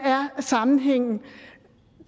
sammenhængen er